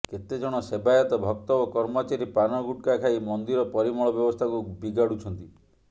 କେତେଜଣ ସେବାୟତ ଭକ୍ତ ଓ କର୍ମଚାରୀ ପାନ ଗୁଟ୍ଖା ଖାଇ ମନ୍ଦିର ପରିମଳ ବ୍ୟବସ୍ଥାକୁ ବିଗାଡୁଛନ୍ତି